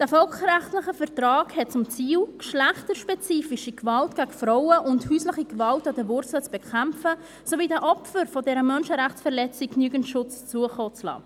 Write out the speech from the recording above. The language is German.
Dieser völkerrechtliche Vertrag hat zum Ziel, geschlechterspezifische Gewalt gegen Frauen und häusliche Gewalt an der Wurzel zu bekämpfen sowie den Opfern dieser Menschenrechtsverletzung genügend Schutz zukommen zu lassen.